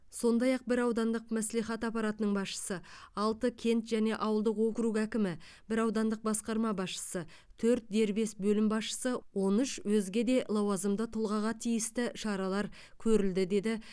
сондай ақ бір аудандық мәслихат аппаратының басшысы алты кент және ауылдық округ әкімі бір аудандық басқарма басшысы төрт дербес бөлім басшысы он үш өзге де лауазымды тұлғаға тиісті шаралар көрілді деді